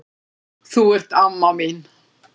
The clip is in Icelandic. Þú ert amma mín.